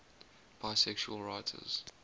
bisexual writers